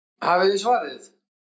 Hafið þið svarið?